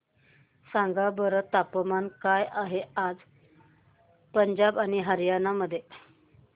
सांगा बरं तापमान काय आहे आज पंजाब आणि हरयाणा मध्ये